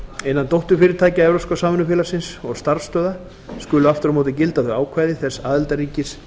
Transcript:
innan dótturfyrirtækja evrópska samvinnufélagsins og starfsstöðva skulu aftur á móti gilda þau ákvæði þess aðildarríkis